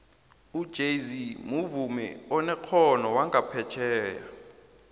ujayz muvumi onekgono wanqaphetjheya